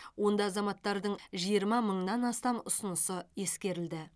онда азаматтардың жиырма мыңнан астам ұсынысы ескерілді